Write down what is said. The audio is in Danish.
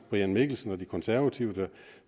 brian mikkelsen og de konservative